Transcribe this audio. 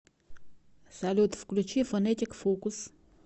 салют включи фонетик фокус